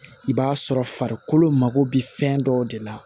I b'a sɔrɔ farikolo mago bɛ fɛn dɔw de la